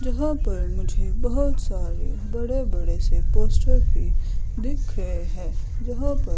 यहां पर मुझे बहोत सारे बड़े बड़े से पोस्टर भी देख रहे है जहा पर--